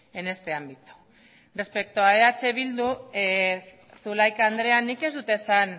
en este ámbito respecto a eh bildu zulaika andreak nik ez dut esan